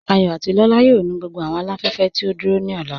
Àyọ̀ àti Lọla yóò nù gbogbo awọn aláfẹ̀fẹ̀ tí o dúró ni ọlá.